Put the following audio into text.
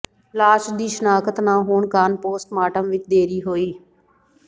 ਲਾਸ਼ ਦੀ ਸ਼ਨਾਖਤ ਨਾ ਹੋਣ ਕਾਰਨ ਪੋਸਟਮਾਰਟਮ ਵਿੱਚ ਦੇਰੀ ਹੋਈ